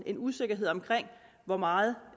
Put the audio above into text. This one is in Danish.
en usikkerhed om hvor meget